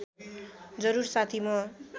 जरुर साथी म